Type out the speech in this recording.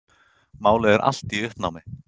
Málið er allt í uppnámi.